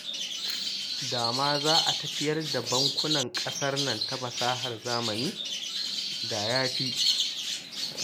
Da ma za a tafiyar da bankunan ƙasar nan ta fasahar zamani, da ya fi